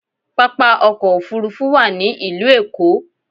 Pápá ọkọ̀ òfuurufú wà ní ìlú Èkó